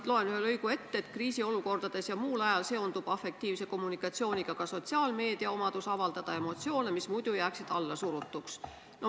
Ma loen ühe lõigu ette: "Nii kriisiolukordades kui ka muul ajal seondub afektiivse kommunikatsiooniga ka sotsiaalmeedia omadus avaldada emotsioone, mis muidu jääksid allasurutuks.